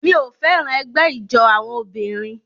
Mi ò fẹ́ràn ẹgbẹ́ ijó àwọn obìnrin